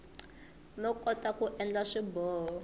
no kota ku endla swiboho